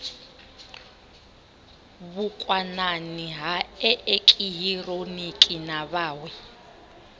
vhukwanani ha eekihironiki na vhawe